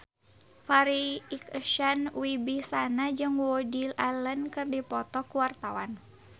Farri Icksan Wibisana jeung Woody Allen keur dipoto ku wartawan